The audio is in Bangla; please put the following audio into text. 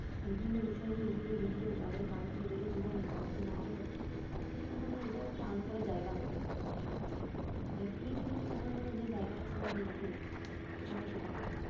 বিভিন্ন বিষয় নিয়ে ইউটিউবে video তাদের কার কি হলো জীবনে কার কি না হলো সব কিছু নিয়ে এখন মানে এটাও একটা earn করার জায়গা হয়ে গেছে মানুষের কাছে, মানে creativity দেখানোর যে জায়গাটা ছিলো আগে ইউটিউব এখন আর সেটা নেই